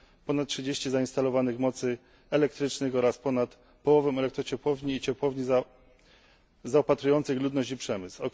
ponad 30 zainstalowanych mocy elektrycznych oraz ponad połowę elektrociepłowni i ciepłowni zaopatrujących ludność i przemysł.